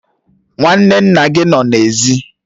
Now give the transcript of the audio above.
Nwanne nna gị nọ n'èzí